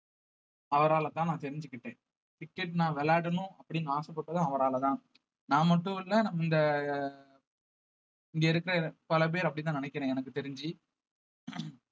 அவராலதான் நான் தெரிஞ்சுக்கிட்டேன் cricket நான் விளையாடணும் அப்படின்னு ஆசைப்பட்டதும் அவராலதான் நான் மட்டும் இல்ல இந்த இங்க இருக்கிற பல பேர் அப்படித்தான் நினைக்கிறேன் எனக்கு தெரிஞ்சு